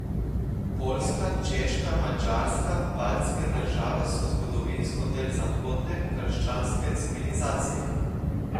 Poljska, Češka, Madžarska, baltske države so zgodovinsko del zahodne, krščanske civilizacije.